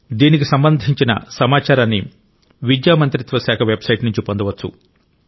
దీనికి సంబంధించిన సమాచారాన్ని విద్యా మంత్రిత్వ శాఖ వెబ్సైట్ నుంచి పొందవచ్చు